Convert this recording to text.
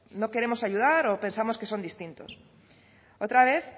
no queremos ayudar o pensamos que son distintos otra vez